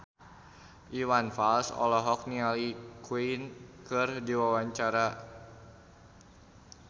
Iwan Fals olohok ningali Queen keur diwawancara